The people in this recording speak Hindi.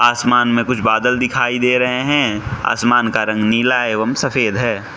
आसमान में कुछ बादल दिखाई दे रहे हैं आसमान का रंग नीला एवं सफेद है।